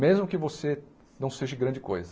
Mesmo que você não seja de grande coisa.